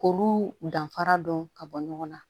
K'olu danfara dɔn ka bɔ ɲɔgɔn na